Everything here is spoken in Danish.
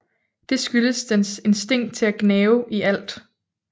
Det skyldes dens instinkt til at gnave i alt